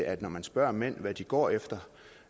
at når man spørger mænd hvad de går efter